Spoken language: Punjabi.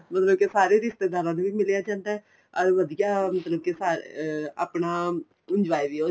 ਮਤਲਬ ਕੇ ਸਾਰੇ ਰਿਸ਼ਤੇਦਾਰਾਂ ਨੂੰ ਵੀ ਮਿਲਿਆਂ ਜਾਂਦਾ ਏ or ਵਧੀਆ ਮਤਲਬ ਕੇ ਸਾਰਾ ਅਹ ਆਪਣਾ enjoy ਵੀ